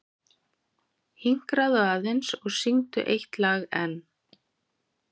Hinkraðu aðeins og syngdu eitt lag enn.